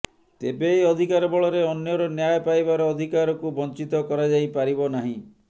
ତେବେ ଏହି ଅଧିକାର ବଳରେ ଅନ୍ୟର ନ୍ୟାୟ ପାଇବାର ଅଧିକାରକୁ ବଞ୍ଚିତ କରା ଯାଇପାରିବ ନାହିଁ